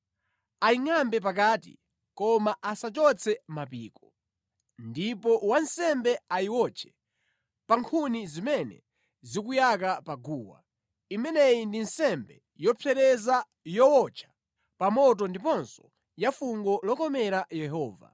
Kenaka ayingʼambe pakati, koma asachotse mapiko. Ndipo wansembe ayiwotche pa nkhuni zimene zikuyaka pa guwa. Imeneyi ndi nsembe yopsereza, yowotcha pa moto ndiponso ya fungo lokomera Yehova.